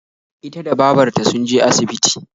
Ita da babarta sunje asibiti